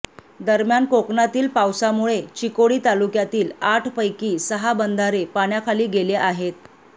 दरम्यान कोकणातील पावसामुळे चिकोडी तालुक्यातील आठपैकी सहा बंधारे पाण्याखाली गेले आहेत